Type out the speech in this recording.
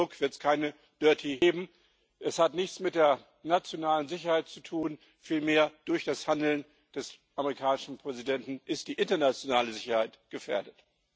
Unter Druck wird es keine geben. Es hat nichts mit der nationalen Sicherheit zu tun, vielmehr ist durch das Handeln des amerikanischen Präsidenten die internationale Sicherheit gefährdet.